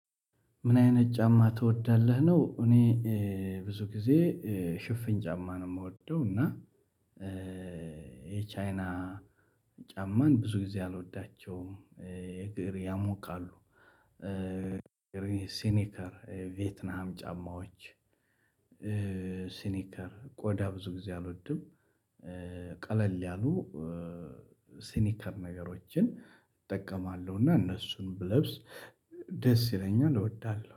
ምን አይነት ጫማ ትወዳለህ ነው? እኔ ብዙ ጊዜ ሽፍን ጫማ ነው የምወደው እና የቻይና ጫማን ብዙ ጊዜ አልወዳቸውም። የግር ያሞቃሉ ሲኒከር የቬትናም ጫማዎች። ሲኒከር ቆዳ ብዙ ጊዜ አልወድም። ቀለል ያሉ ሲኒከር ነገሮችን እጠቀማለሁ እና እነሱን ብለብስ ደስ ይለኛል እወዳለሁ